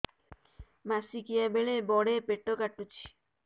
ମାସିକିଆ ବେଳେ ବଡେ ପେଟ କାଟୁଚି